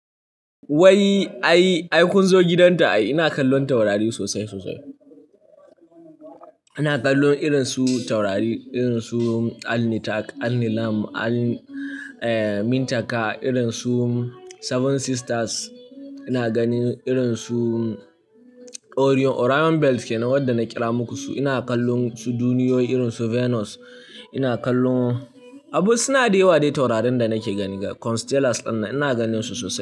Wai ai, ai kun zo gidanta ina kallon taurari sosai sosai. Ina kallon irin su taurari irin su Alnitak, Alnilam, Almintaka, irin su Seven Sisters. Ina ganin irin su Orion, Orion Belt kenan wadda na kira muku su. Ina kallon su duniyoyi irin su Venus. Ina kallon, abu suna da yawa dai taurarin da nake gani ga constellations dinnan ina ganin su sosai.